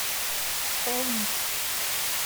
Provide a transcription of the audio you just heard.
холмск